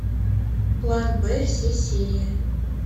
план б все серии